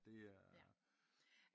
Det er